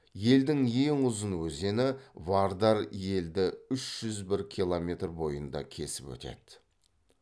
елдің ең ұзын өзені вардар елді үш жүз бір километр бойында кесіп өтеді